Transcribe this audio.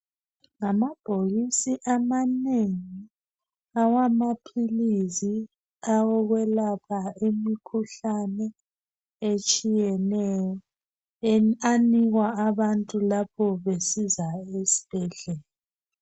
Ngamabhokisi amanengi! Awamaphilisi qawokwelapha imikhuhlane, eminengi etshiyeneyo. Anikwa abantu lapho besiza esibhedlela.